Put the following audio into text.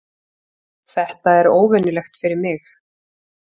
Þetta er óvenjulegt fyrir mig.